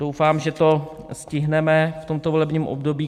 Doufám, že to stihneme v tomto volebním období.